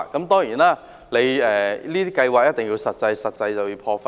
當然，這些計劃一定要有實際，有實際便一定要破費。